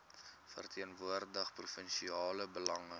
verteenwoordig provinsiale belange